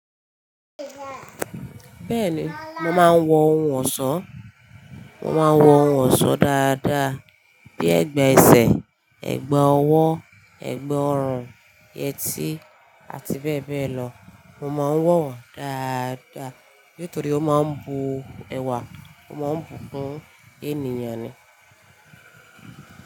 Bẹ́ẹ̀ni, mo máa ń wọ ohun ọ̀ṣọ́. Mo máa ń wọ ohun ọ̀ṣọ́ dáadáa bíi ẹ̀gbà ẹsẹ̀, ẹ̀gbà ọwọ́, ẹ̀gbà orun, yẹtí àti bẹ́ẹ̀ bẹ́ẹ̀ lọ. Mo máa ń wọ̀ wọ́n dáadáa nítorí ó máa ń bu ẹwà, ó máa ń bùkún ènìyàn ni.